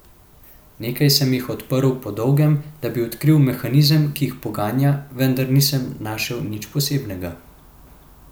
Nekaj sem jih odprl po dolgem, da bi odkril mehanizem, ki jih poganja, vendar nisem našel nič posebnega.